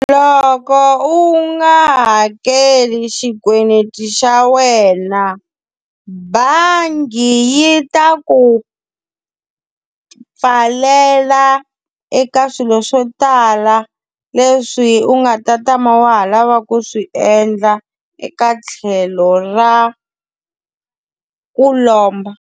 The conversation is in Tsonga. Loko u nga hakeli xikweleti xa wena, bangi yi ta ku pfalela ya eka swilo swo tala leswi u nga ta tama wa ha lava ku swi endla eka tlhelo ra ku lomba.